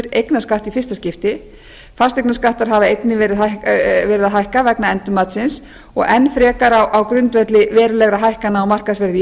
í fyrsta skipti fasteignaskattar hafa einnig verið að hækka vegna endurmatsins og enn frekar á grundvelli verulegra hækkana á markaðsverði